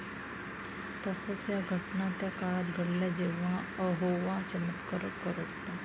तसंच, या घटना त्या काळात घडल्या जेव्हा यहोवा चमत्कार करत होता.